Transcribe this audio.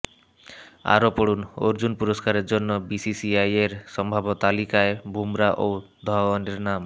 আরও পড়ুনঃঅর্জুন পুরষ্কারের জন্য বিসিসিআইয়ের সম্ভাব্য তালিকায় বুমরা ও ধওয়ানের নাম